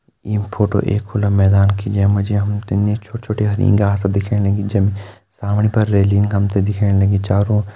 यी फोटो एक खुला मैदान की जै मा जी हम त छोटी छोटी हरी घास दिखेण लगीं ज-सामणी पर रेलिंग दिखेण लगीं। चारो--